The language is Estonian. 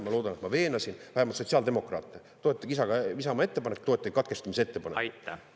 Ma loodan, et ma veenasin vähemalt sotsiaaldemokraate: toetage Isamaa ettepanekut, toetage katkestamisettepanekut!